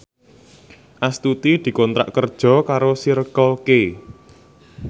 Astuti dikontrak kerja karo Circle K